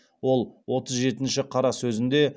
ол отыз жетінші қара сөзінде